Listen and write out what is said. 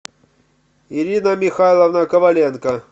ирина михайловна коваленко